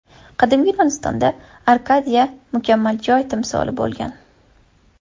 Qadimgi Yunonistonda Arkadiya mukammal joy timsoli bo‘lgan.